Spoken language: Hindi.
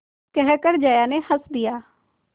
कहकर जया ने हँस दिया